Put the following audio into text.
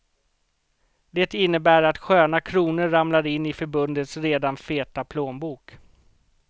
Det innebär att sköna kronor ramlar in i förbundets redan feta plånbok.